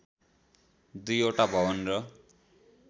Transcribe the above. दुईवटा भवन र